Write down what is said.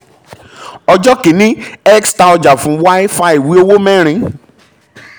ọjọ́ kìíní x ta ọjà fún y fa ìwé owó mẹ́rin